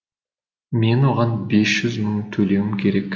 мен оған бес жүз мың төлеуім керек